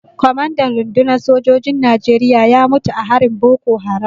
Kwamandan rundunar sojin Najeriya ya mutu a harin Boko Haram.